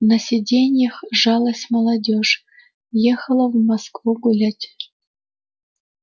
на сиденьях жалась молодёжь ехала в москву гулять